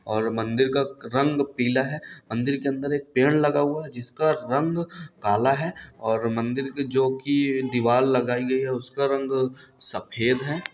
और मंदिर का रंग क पीला है| मंदिर के अंदर एक पेड़ लगा हुआ जिसका रंग काला है और मंदिर के जो की दिवाल लगाई गई है उसका रंग सफेद है।